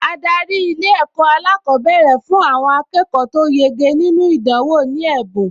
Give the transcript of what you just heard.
Adarí Ilé-ẹ̀kọ́ alákọ̀ọ́bẹ̀rẹ̀ fún àwọn akẹ́kọ̀ọ tó yege nínú ìdánwò ní ẹ̀bùn